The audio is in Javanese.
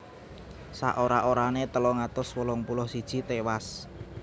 Saora orané telung atus wolung puluh siji tiwas